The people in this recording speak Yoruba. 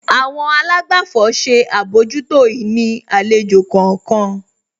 Àwọn àlágbàfọ̀ ṣe àbójútó ìní àlejò kọ̀ọ̀kan.